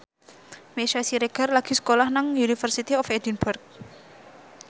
Meisya Siregar lagi sekolah nang University of Edinburgh